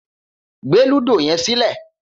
Gbé lúdò yé̩n sílè̩!